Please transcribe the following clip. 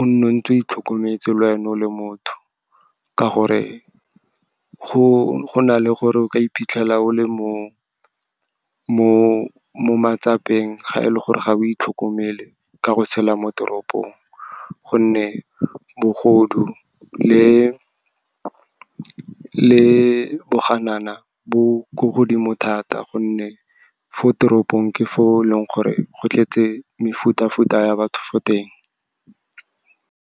o nne o ntse o itlhokometse le wena o le motho, ka gore go na le gore o ka iphitlhela o le mo matsapeng, ga e le gore ga o itlhokomele ka go tshela mo toropong. Gonne bogodu le boganana bo ko godimo thata, gonne fo teropong ke fo leng gore go tletse mefuta-futa ya batho fo teng.